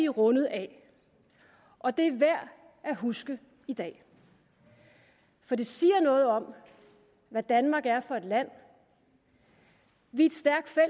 rundet af og det er værd at huske i dag for det siger noget om hvad danmark er for et land vi